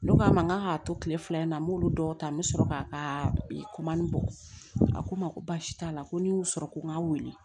Ne k'a ma n k'a k'a to tile fila in na n m'olu dɔw ta n bɛ sɔrɔ k'a ka bɔ a ko n ma ko basi t'a la ko n y'u sɔrɔ ko n ga wele